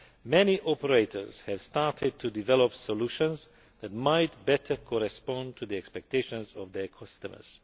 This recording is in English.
Many operators have started to develop solutions that might better meet the expectations of their customers.